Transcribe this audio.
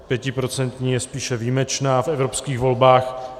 Pětiprocentní je spíše výjimečná v evropských volbách.